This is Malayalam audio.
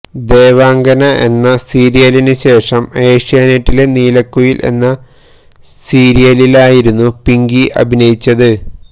ദേവാംഗന എന്ന സീരിയലിന് ശേഷം ഏഷ്യാനെറ്റിലെ നീലക്കുയില് എന്ന സീരിയലിലായിരുന്നു പിങ്കി അഭിനയിച്ചത്